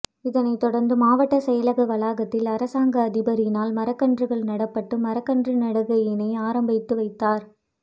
இதனை தொடர்ந்து மாவட்ட செயலக வளாகத்தில் அரசாங்க அதிபரினால் மரக்கன்றுகள் நாட்டப்பட்டு மரக்கன்று நடுகையினை ஆரம்பித்து வைத்தார்